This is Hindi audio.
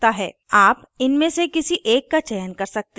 आप इनमें से किसी एक का चयन कर सकते हैं